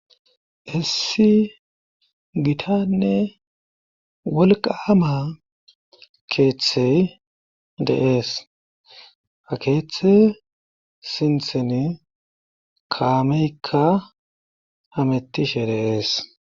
Issi gitanne wolqaama keeththey deees ha keeththe sintheni kaameykka hamettishe deeS.